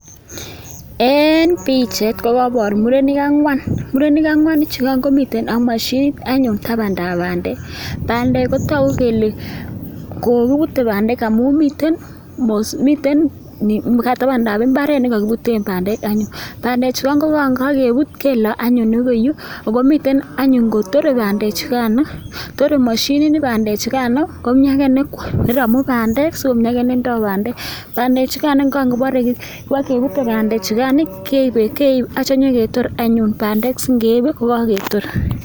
Eng pichait kokaipor murenik angwan, murenik angwan chukan komiten ak mashinit anyun tabandab bandek. Bandek kotoku kele kokiputei bandek amun miten mosiik tabandab imbaaret nekakiputen bandek. Bandechu anyun kokapuut keloi akoi yu ako miten anyun kotore bandechukan, torei mashinini bandechukan komi ake ne romu bandek sikomi ake ne indoi bandek. Bandechukan kangoparei kepute bandechukan keipe anityo peketor anyun bandek singeip peketor.